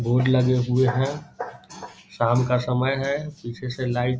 board लगे हुए हैं शाम का समय है पीछे से लाइट --